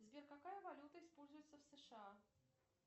сбер какая валюта используется в сша